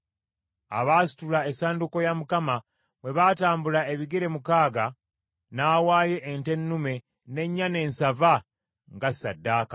Abaasitula essanduuko ya Mukama bwe baatambula ebigere mukaaga n’awaayo ente ennume n’ennyana ensava nga ssaddaaka.